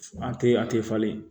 A tɛ a tɛ falen